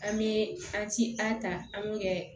An bɛ an ti an ta an b'u kɛ